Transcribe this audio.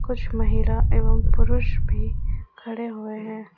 कुछ महिला एवं पुरुष भी खड़े हुए हैं।